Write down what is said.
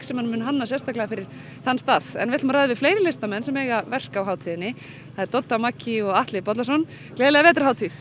sem hann mun hanna sérstaklega fyrir þann stað en við ætlum að ræða við fleiri listamenn sem eiga verk á hátíðinni það eru Dodda Maggý og Atli Bollason gleðilega vetrarhátíð